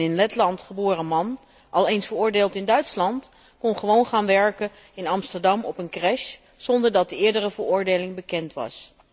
Een in Letland geboren man, al eens veroordeeld in Duitsland, kon gewoon gaan werken in Amsterdam op een crèche, zonder dat de eerdere veroordeling bekend was.